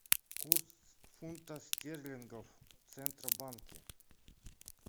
курс фунта стерлингов в центробанке